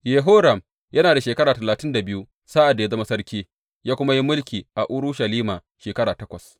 Yehoram yana da shekara talatin da biyu sa’ad da ya zama sarki, ya kuma yi mulki a Urushalima shekara takwas.